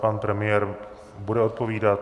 Pan premiér bude odpovídat.